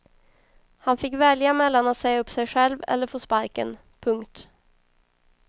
Han fick välja mellan att säga upp sig själv eller få sparken. punkt